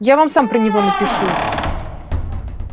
я вам сам про него напишу